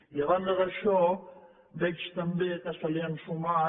i a banda d’això veig també que se li han sumat